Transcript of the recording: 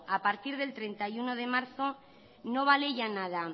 a partir del treinta y uno de marzo no vale ya nada